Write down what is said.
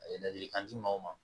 A ye ladilikan di mɔgɔw ma